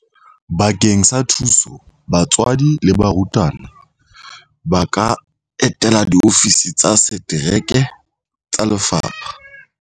Bakeng sa thuso batswadi le barutwana ba ka etela diofisi tsa setereke tsa lefapha.